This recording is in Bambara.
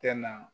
Tɛ na